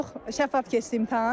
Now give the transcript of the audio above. Çox şəffaf keçdi imtahan.